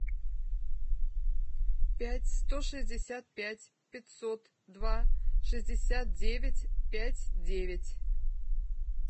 пять сто шестьдесят пять пятьсот два шестьдесят девять пять девять